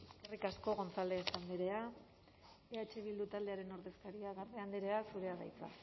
eskerrik asko gonzález andrea eh bildu taldearen ordezkaria garde andrea zurea da hitza